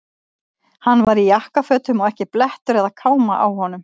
Hann var í jakkafötum og ekki blettur eða káma á honum.